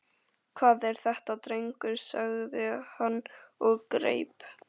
Hvað er þetta drengur? sagði hann og greip